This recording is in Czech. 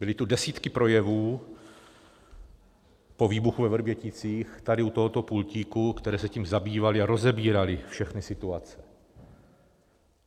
Byly tu desítky projevů po výbuchu ve Vrběticích tady u tohoto pultíku, které se tím zabývaly a rozebíraly všechny situace.